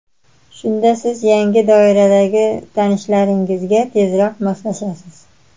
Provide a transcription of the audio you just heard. Shunda siz yangi doiradagi tanishlaringizga tezroq moslashasiz.